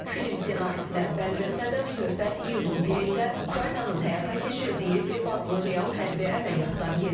Film ssenarisinə bənzəsə də, söhbət iyunun 1-də Ukraynanın həyata keçirdiyi Veb adlı real hərbi əməliyyatdan gedir.